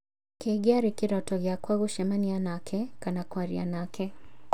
Kĩngĩarĩ kĩroto gĩakwa gũcemania nake, kana kwaria nake